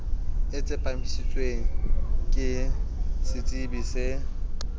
e tsepamisitsweng ke setsebi se